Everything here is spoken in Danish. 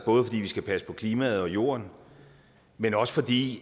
både fordi vi skal passe på klimaet og jorden men også fordi